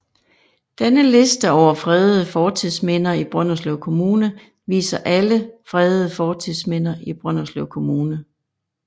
Denne liste over fredede fortidsminder i Brønderslev Kommune viser alle fredede fortidsminder i Brønderslev Kommune